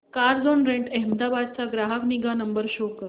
Carzonrent Ahmedabad चा ग्राहक निगा नंबर शो कर